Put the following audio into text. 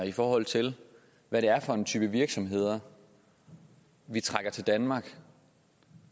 i forhold til hvad det er for en type virksomheder vi trækker til danmark